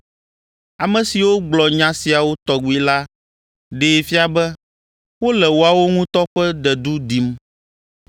Ame siwo gblɔ nya siawo tɔgbi la ɖee fia be wole woawo ŋutɔ ƒe dedu dim.